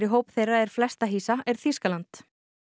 hóp þeirra er flesta hýsa er Þýskaland